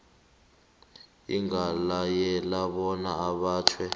ingalayela bona abotjhwe